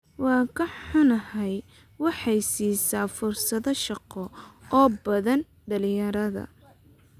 Waan ka xunnahay waxay siisaa fursado shaqo oo badan dhalinyarada.